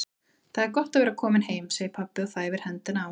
Það er gott að vera kominn heim, segir pabbi og þæfir hendina á